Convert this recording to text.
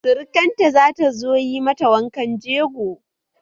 Surakar ta zata zo yi mata wankan jego